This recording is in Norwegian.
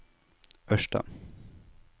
Ørsta